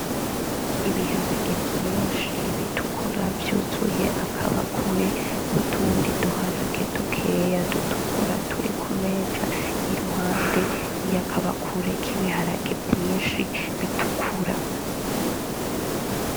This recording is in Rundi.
Ibiharage vyinshi b'itukura vyuzuye akabakure n'utundi d'uharage dukeya d'utukura turi kumeza iruhande y'akabakure k'ibiharage vyinshi b'itukura.